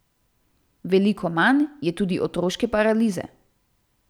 Veliko manj je tudi otroške paralize.